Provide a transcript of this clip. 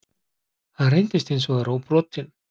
Hann reyndist hins vegar óbrotinn